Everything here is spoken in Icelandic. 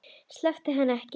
Sleppir henni ekki.